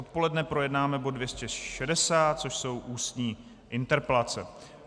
Odpoledne projednáme bod 260, což jsou Ústní interpelace.